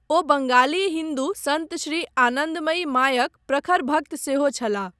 ओ बङाली हिन्दू सन्त श्री आनन्दमयी मायक ''प्रखर भक्त'' सेहो छलाह।